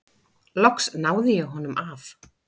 Loks náði ég honum af.